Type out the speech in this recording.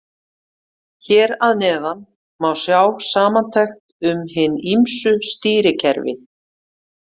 Hér að neðan má sjá samantekt um hin ýmsu stýrikerfi.